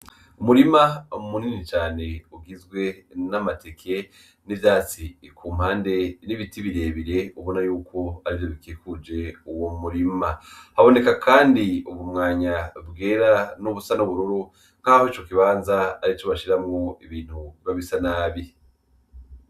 Umurima munini cane ugizwe n'amateke n'ivyatsi kumpande n'ibiti birebire ubona yuko arivyo bikikuje uwo murima, haboneka kandi ubu mwanya bwera nubusa n'ubururu nkaho ico kibanza arico bashiramwo ibintu biba bisa nabi.